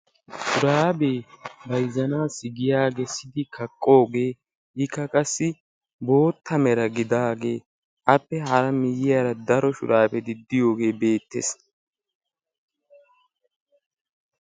Shuraabee bayzzanaassi giyaa kessidi kaqqoogee ikka qassi bootta mera gidagee appe hara miyiyaara daro shuraabeti de'iyoogee beettees.